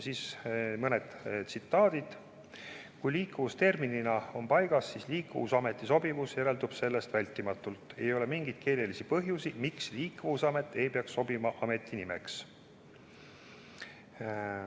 Temalt mõned tsitaadid: kui liikuvus terminina on paigas, siis liikuvusameti sobivus järeldub sellest vältimatult; ei ole mingeid keelelisi põhjuseid, miks liikuvusamet ei peaks sobima ameti nimeks.